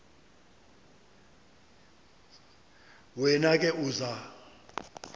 wena ke uza